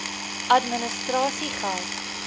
administrasiegeldr